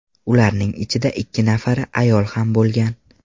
Ularning ichida ikki nafari ayol ham bo‘lgan.